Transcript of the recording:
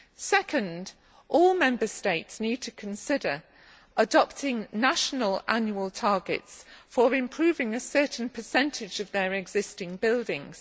Secondly, all Member States need to consider adopting national annual targets for improving a certain percentage of their existing buildings.